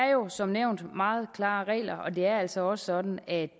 jo som nævnt meget klare regler og det er altså også sådan at